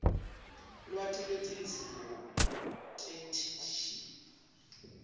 lwati lwetidzingo tetheksthi